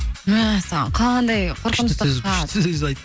мәссаған қандай күшті сөз айтты ғой